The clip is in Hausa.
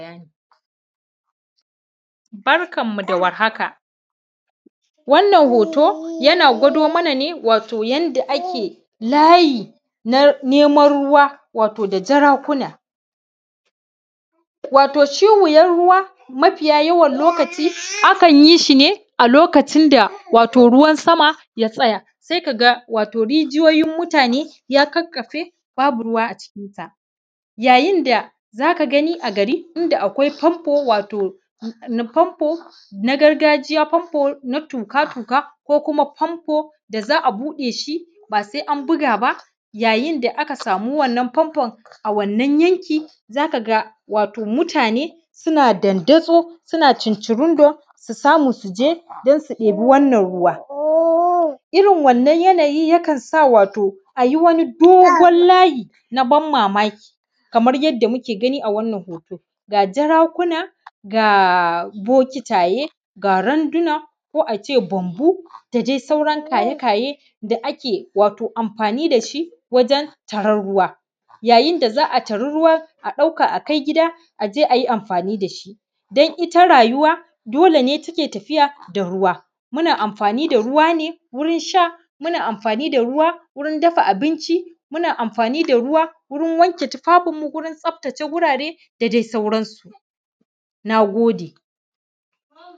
Barkanmu da warhaka wannan hoto yana gwado mana ne wato yanda ake layi na neman ruwa wato da jarakuna, wato shi wuyan ruwa mafiya yawan lokaci akna yi shi ne a lokacin da wato ruwan sama ya tsaya. Se ga rigiyoyin mutane ya ƙaƙƙafe babu ruwa a jikin ta yayin da za ka gani a gari inda akwai fanfo wato na fanfo na gargajiya ko fanfo na tuƙa-tuƙa ko kuma fanfo da za a buɗe. Shi ba se an buga ba, yayin da aka samu wannan fanfon a wannan yankin za ka ga wato mutane suna dandazo, suna cincirondo su samu su je dan su ɗeba wannan ruwa, irin wanna yanayi yakan sa a yi wani dogon layi na ban mamaki. Kamar yadda muke gani a wannan hoton ga jarakuna ga bokitaye ga randuna ko in ce banbu da dai sauran kaye-kaye da ake wato amfani da shi wajen taran ruwa, hayin da za a tari ruwan a ɗauka akai gida, a je a yi amfani da shi dan ita rayuwa dole ne take tafiya da ruwa muna amfani da ruwa ne wurin sha, muna amfani da ruwa wurin dafa binci, muna amfani da ruwa wurin wanke tufafinmu, wurin tsaftace wurare da dai sauransu. Na gode.